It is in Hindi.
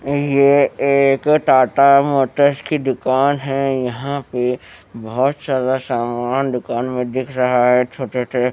ये एक टाटा मोटर्स की दुकान है यहां पे बहोत सारा सामान दुकान में दिख रहा है छोटे से--